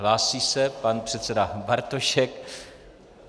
Hlásí se pan předseda Bartošek.